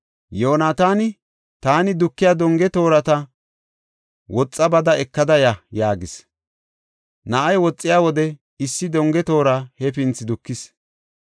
Yoonataani, “Taani dukiya donge toorata woxa bada ekada ya” yaagis. Na7ay woxiya wode issi donge toora hefinthi dukis.